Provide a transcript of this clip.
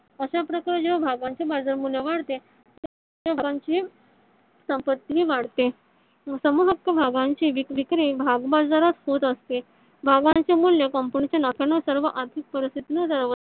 अश्या प्रकारे ज्या भागांचे बाजार मूल्य वाढते . त्या भागांची संपत्ति ही वाढते . समूह हक्क भागांची विक्री भाग बाजारात होत असते. भागांचे मूल्य कंपनीच्या नफ्यानुसार व आर्थिक परस्तितीनुसार